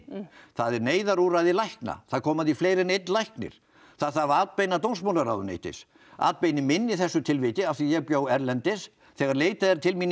það er neyðarúrræði lækna það koma að því fleiri en einn læknir það þarf atbeina dómsmálaráðuneytis atbeini minni í þessu tilviki af því að ég bjó erlendis þegar leitað er til mín